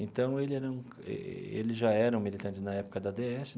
Então, ele era um ele já era um militante na época da dê esse.